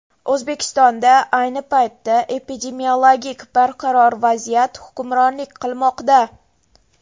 O‘zbekistonda ayni paytda epidemiologik barqaror vaziyat hukmronlik qilmoqda.